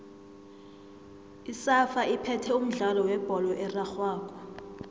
isafa iphethe umdlalo webholo erarhwako